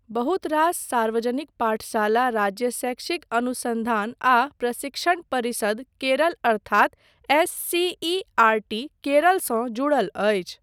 बहुत रास सार्वजनिक पाठशाला राज्य शैक्षिक अनुसन्धान आ प्रशिक्षण परिषद, केरल अर्थात एससीईआरटी केरल सँ जुड़ल अछि।